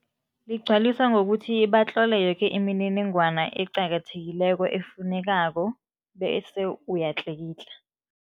Ligcwaliswa ngokuthi batlole yoke imininingwana eqakathekileko efunekako bese uyatlikitla.